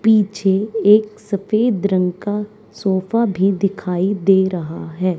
पीछे एक सफेद रंग का सोफा भी दिखाई दे रहा है।